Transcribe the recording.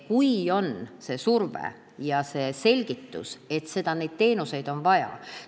On vaja seda survet ja selgitust, et neid teenuseid on vaja.